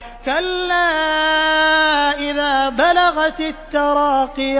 كَلَّا إِذَا بَلَغَتِ التَّرَاقِيَ